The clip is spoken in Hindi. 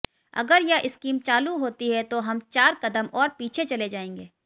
अगर यह स्कीम लागू होती है तो हम चार कदम और पीछे चले जाएंगे